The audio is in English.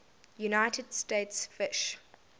united states fish